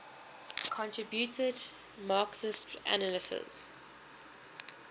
contributed marxist analyses